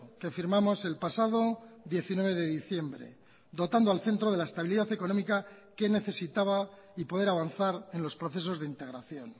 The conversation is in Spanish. que firmamos el pasado diecinueve de diciembre dotando al centro de la estabilidad económica que necesitaba y poder avanzar en los procesos de integración